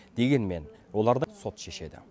дегенмен оларды сот шешеді